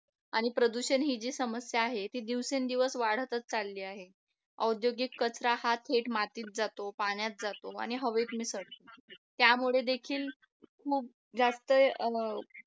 आणि प्रदूषण ही जी समस्या आहे ते दिवसेंदिवस वाढतच चालली आहे औद्योगिक कचरा हा थेट मातीत जातो पाण्यात जातो आणि हवेत मिसळतो त्यामुळे देखील खूप जास्त